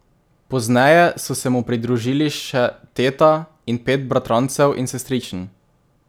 Pozneje so se mu pridružili še teta in pet bratrancev in sestričen.